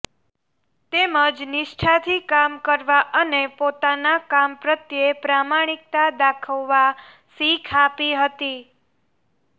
તેમજ નિષ્ઠાથી કામ કરવા અને પોતાના કામ પ્રત્યે પ્રમાણીકતા દાખવવા શીખ આપી હતી